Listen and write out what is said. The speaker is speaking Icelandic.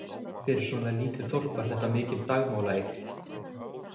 Fyrir svona lítið Þorp var þetta mikil dagmálaeykt.